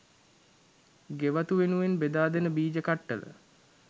ගෙවතු වෙනුවෙන් බෙදා දෙන බීජ කට්ටල